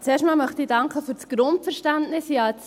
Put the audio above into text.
Zuerst einmal möchte ich für das Grundverständnis danken.